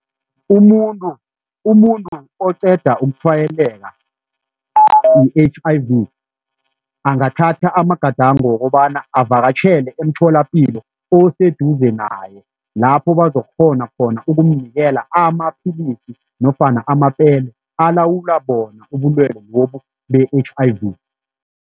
Umuntu umuntu oqeda ukutshwayeleka i-H_I_V angathatha amagadango wokobana avakatjhele emtholapilo oseduze naye lapho bazokukghona khona ukumnikela amapilisi nofana amapele alawulwa bona ubulwelwe lobu be-H_I_V.